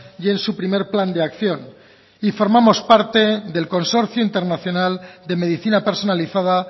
y en su primer plan de acción y formamos parte del consorcio internacional de medicina personalizada